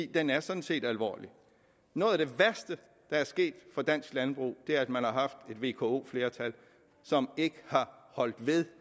den er sådan set alvorlig noget af det værste der er sket for dansk landbrug er at man har haft et vko flertal som ikke har holdt ved